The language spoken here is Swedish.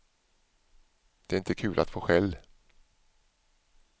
Det är inte kul att få skäll.